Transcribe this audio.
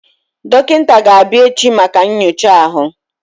Dọkịta ga-abịa echi maka nyocha ahụ.